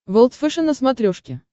волд фэшен на смотрешке